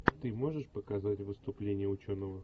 ты можешь показать выступление ученого